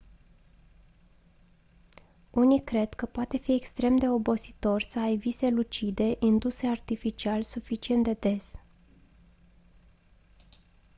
unii cred că poate fi extrem de obositor să ai vise lucide induse artificial suficient de des